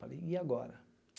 Falei, e agora?